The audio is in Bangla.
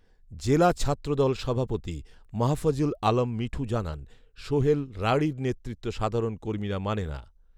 জেলা ছাত্রদল সভাপতি মাহফুজুল আলম মিঠু জানান, সোহেল রাঢ়ির নেতৃত্ব সাধারণ কর্মীরা মানে না